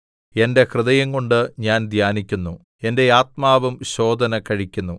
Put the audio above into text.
എന്റെ ഹൃദയംകൊണ്ട് ഞാൻ ധ്യാനിക്കുന്നു എന്റെ ആത്മാവും ശോധന കഴിക്കുന്നു